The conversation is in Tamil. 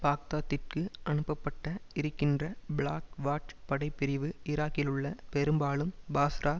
பாக்தாத்திற்கு அனுப்பப்பட்ட இருக்கின்ற பிளாக் வாட்ச் படை பிரிவு ஈராக்கிலுள்ள பெரும்பாலும் பாஸ்ரா